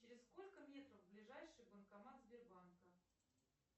через сколько метров ближайший банкомат сбербанка